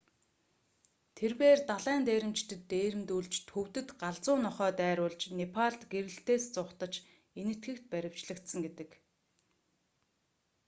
тэрбээр далайн дээрэмчдэд дээрэмдүүлж төвдөд галзуу нохой дайруулж непалд гэрлэлтээс зугатаж энэтхэгт баривчлагдсан гэдэг